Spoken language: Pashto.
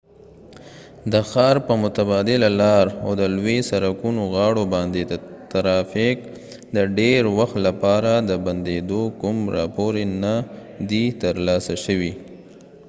د ښار په متبادله لار او د لوي سرکونو غاړو باندي د ترافیک د ډیر وخت لپاره د بنديدو کوم راپور نه دي تر لاسه شوي